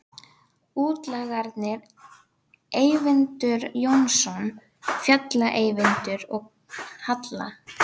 Útlagarnir Eyvindur Jónsson, Fjalla-Eyvindur, og Halla